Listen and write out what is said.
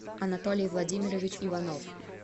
анатолий владимирович иванов